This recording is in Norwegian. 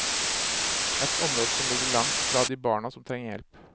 Et område som ligger langt fra de barna som trenger hjelp.